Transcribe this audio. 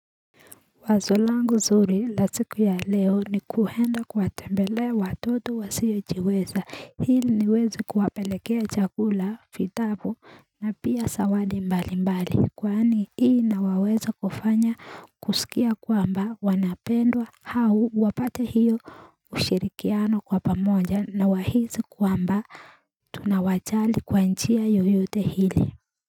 Wazo langu zuri la siku ya leo ni kuenda kuwatembelea watoto wasiojiweza hili niweze kuwapelekea chakula vitabu na pia zawadi mbali mbali kwani hii inawaweza kufanya kusikia kwamba wanapendwa hao wapate hiyo ushirikiano kwa pamoja na wahisi kwamba tunawajali kwa njia yoyote hili.